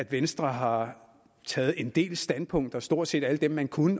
venstre har taget en del standpunkter stort set alle dem man kunne